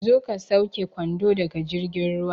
Zo ka sauke kwando daga jirgin ruwa